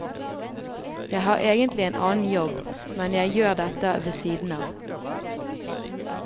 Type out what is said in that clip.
Jeg har egentlig en annen jobb, men jeg gjør dette ved siden av.